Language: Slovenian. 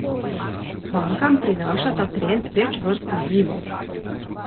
Bankam prinaša ta trend več vrst izzivov.